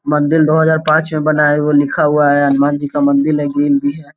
मंदील दो हज़ार पांच में बनाया हुआ लिखा हुआ है हनुमान जी का मंदिल है गिल भी है।